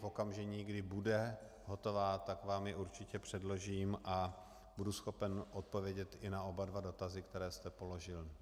V okamžiku, kdy bude hotová, tak vám ji určitě předložím a budu schopen odpovědět i na oba dva dotazy, které jste položil.